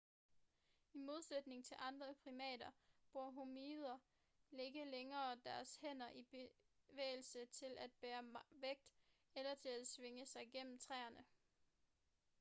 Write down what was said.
i modsætning til andre primater bruger hominider ikke længere deres hænder i bevægelse til at bære vægt eller til at svinge sig gennem træerne